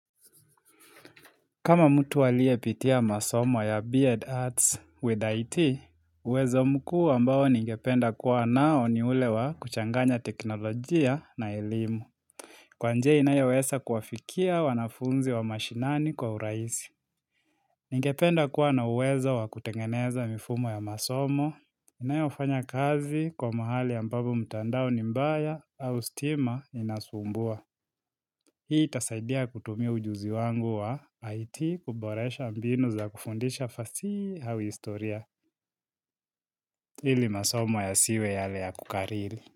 Kama mtu aliye pitia masomo ya Beard Arts with IT, huwezo mkuu ambao ningependa kuwa nao ni ulewa kuchanganya teknolojia na elimu. Kwa njia inayaweza kuwafikia wanafunzi wa mashinani kwa urahisi. Ningependa kuwa na uwezo wa kutengeneza mifumo ya masomo. Inayoafanya kazi kwa mahali ambapo mtandao ni mbaya au stima inasumbua. Hii itasaidia kutumia ujuzi wangu wa IT kuboresha mbinu za kufundisha fasihi au historia ili masomo ya siwe yale ya kukariri.